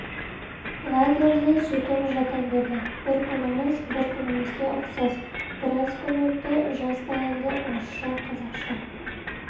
лагерьде сөйтіп жата бердік бір күніміз бір күнімізге ұқсас біраз күн өтті жаз таянды орысша қазақша